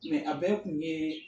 Mɛ a bɛɛ kun ye